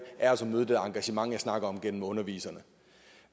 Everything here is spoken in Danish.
er altså at møde det engagement som jeg snakkede om gennem underviserne